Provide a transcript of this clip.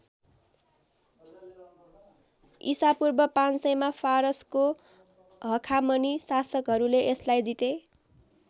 इसापूर्व ५०० मा फारसको हखामनी शासकहरूले यसलाई जिते।